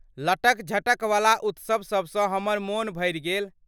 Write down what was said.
लटक झटक वला उत्सव सभसँ हमर मोन भरि गेल ।